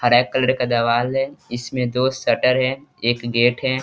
हरे colour का देवाल है इसमें दो शटर है एक गेट है।